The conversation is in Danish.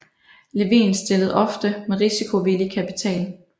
Levin stillede ofte med risikovillig kapital